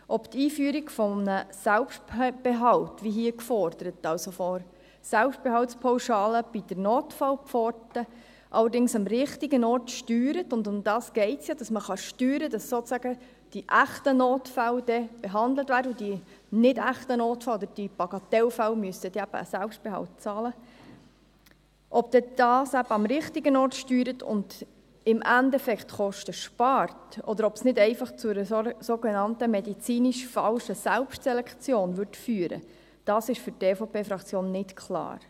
Ob die Einführung eines Selbstbehalts, wie hier gefordert – also eine Selbstbehaltspauschale bei der Notfallpforte – am richtigen Ort steuert – und darum geht es ja, dass man steuern kann, dass sozusagen die echten Notfälle behandelt werden und die nicht echten Notfälle oder die Bagatellfälle einen Selbstbehalt bezahlen müssen – und im Endeffekt Kosten spart, oder ob es nicht einfach zu einer sogenannten medizinisch falschen Selbstselektion führen würde, ist für die EVP-Fraktion nicht klar.